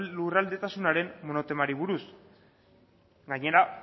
lurraldetasunaren monotemari buruz gainera